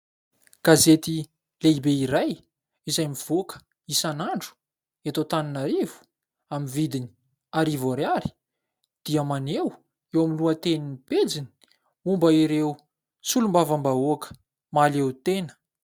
Gazety lehibe iray izay mivoaka isan'andro eto Antananarivo amin'ny vidiny arivo ariary dia maneho eo amin'ny lohatenin'ny pejiny momba ireo solombavambahoaka mahaleo tena.